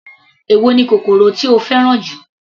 Èwo ni kòkòrò tí o fẹ́ràn jù.